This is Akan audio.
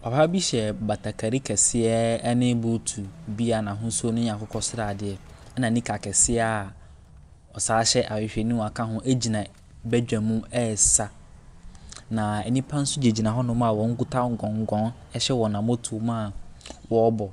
Papa bi hyɛ batakari kɛseɛ ne buutu bi a n'ahosuo no yɛ akokɔ sradeɛ, ɛnna nika kɛseɛ a ɔsan hyɛ ahwehwɛniwa ka ho gyina badwam resa, na nnipa nso gyinagyina hɔnom a wɔgyina gɔngɔn hyɛ wɔn ammɔtoam a wɔrebɔ.